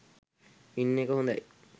ඉන්න එක හොඳයි.